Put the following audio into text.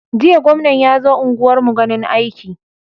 Jiya gwamna yazo unguwar mu ganin aiki